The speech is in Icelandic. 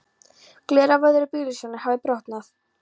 Gler af öðru bílljósinu hafði brotnað.